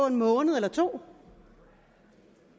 en måned eller 2